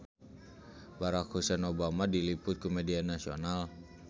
Barack Hussein Obama diliput ku media nasional